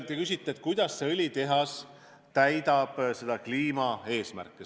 Te küsisite, kuidas see õlitehas täidab kliimaeesmärke.